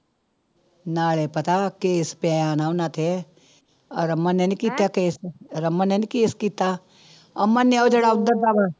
ਨਾਲੇ ਪਤਾ case ਪਿਆ ਹਨਾ ਉਹਨਾਂ ਤੇ, ਆਹ ਰਮਨ ਨੇ ਨੀ ਕੀਤਾ case ਰਮਨ ਨੇ ਨੀ case ਕੀਤਾ ਅਮਨ ਨੇ ਉਹ ਜਿਹੜਾ ਉੱਧਰ ਦਾ ਵਾ